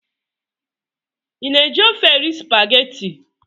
Ị na-eji ofe erị spageti?